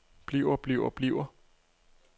bliver bliver bliver